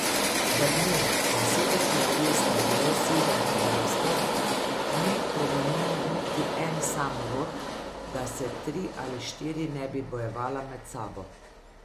V dneh, ko je Sedem kraljestev bilo sedem kraljestev, ni preminil niti en sam rod, da se tri ali štiri ne bi bojevala med sabo.